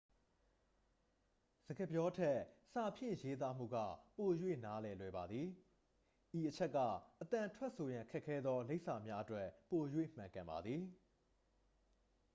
စကားပြောထက် စာဖြင့်ရေးသားမှုက ပို၍နားလည်လွယ်ပါသည် ဤအချက်က အသံထွက်ဆိုရန် ခက်ခဲသော လိပ်စာများအတွက် ပို၍ မှန်ကန်ပါသည်